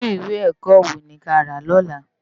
Irú iwé èkò so ni ki á rá lòlá